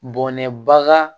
Bɔnɛbaga